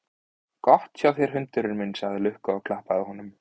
Gott hjá þér hundurinn minn, sagði Lukka og klappaði honum.